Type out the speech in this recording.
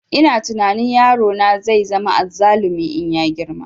Ina tunani yaro na zai zama azzalumi in ya girma